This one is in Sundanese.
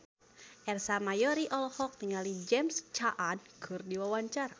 Ersa Mayori olohok ningali James Caan keur diwawancara